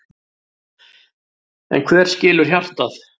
En hver skilur hjartað?